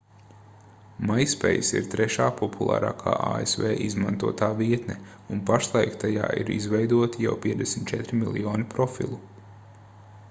myspace ir trešā populārākā asv izmantotā vietne un pašlaik tajā ir izveidoti jau 54 miljoni profilu